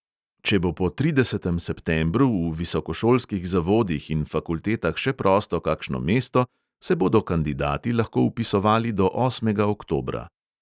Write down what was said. Če bo po tridesetem septembru v visokošolskih zavodih in fakultetah še prosto kakšno mesto, se bodo kandidati lahko vpisovali do osmega oktobra.